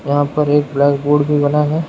यहां पर एक ब्लैक बोर्ड भी बना है।